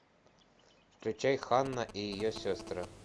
включай ханна и ее сестры